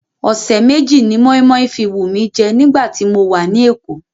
Ọ̀sẹ̀ méjì ni moinmoin fi wù mí jẹ́ nígbà tí mo wà ní Èkó.